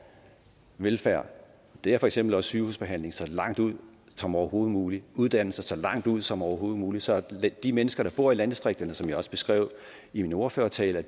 velfærd og det er for eksempel også sygehusbehandling så langt ud som overhovedet muligt uddannelser så langt ud som overhovedet muligt så de mennesker der bor i landdistrikterne som jeg også beskrev i min ordførertale